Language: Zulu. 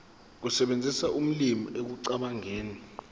ukusebenzisa ulimi ekucabangeni